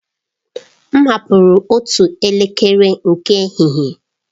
M hapụrụ otu elekere nke ehihie.